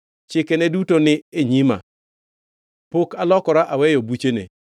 Chikene duto ni e nyima; pok alokora aweyo buchene.